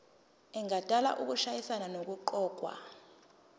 engadala ukushayisana nokuqokwa